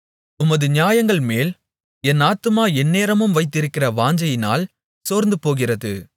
உமது நியாயங்கள்மேல் என் ஆத்துமா எந்தநேரமும் வைத்திருக்கிற வாஞ்சையினால் சோர்ந்துபோகிறது